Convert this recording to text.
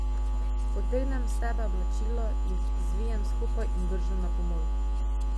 Potegnem s sebe oblačila, jih zvijem skupaj in vržem na pomol.